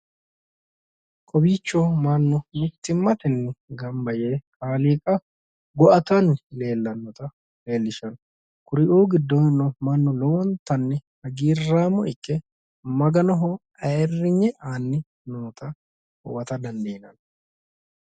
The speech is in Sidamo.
Kowiicho mannu mittimmatenni gamba yee kaaliiqa gu'atanni leellanno kuri"uu giddono mannu lowo geeshsha hagiirraamo ikke maganoho ayiirrinye aanni vnoota huwata dandiinann